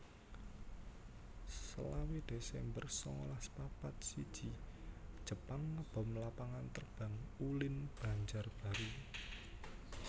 selawe desember sangalas papat siji Jepang ngebom Lapangan Terbang Ulin Banjarbaru